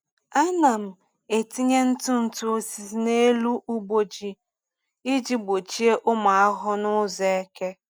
Ana m etinye ntụ ntụ osisi n’elu ugbo ji iji gbochie ụmụ ahụhụ n’ụzọ eke.